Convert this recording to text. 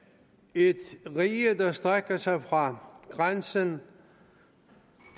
et rige der strækker sig fra grænsen